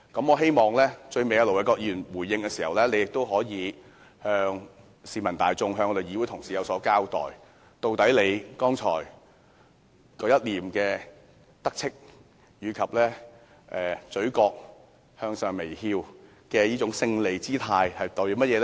我希望盧偉國議員在最後回應時，可以向市民大眾和議會同事有所交代，他剛才一臉得意及嘴角微微上揚的勝利表情是甚麼意思？